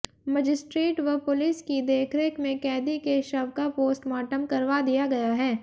magistrate व police की देखरेख में कैदी के शव का पोस्टमार्टम करवा दिया गया है